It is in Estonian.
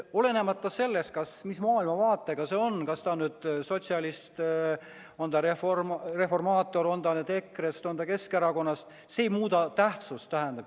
Olenemata sellest, millise maailmavaatega ta on – on ta sotsialist, on ta reformaator, on ta EKRE-st või on ta Keskerakonnast –, see ei muuda tähtsust.